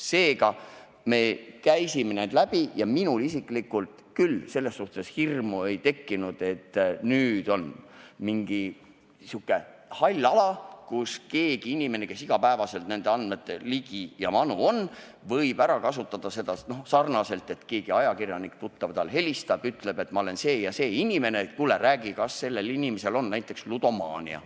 Seega, me käisime need teemad läbi ja minul isiklikult küll selles suhtes hirmu ei tekkinud, et nüüd on kusagil mingisugune hall ala, mida keegi, kes on iga päev nende andmete ligi, võib ära kasutada nii, et näiteks tuttav ajakirjanik helistab ja ütleb, et ma olen see ja see, räägi, kas sel inimesel on näiteks ludomaania.